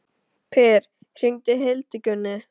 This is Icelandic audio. Per, hringdu í Hildigunni.